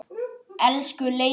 Elsku Leifur.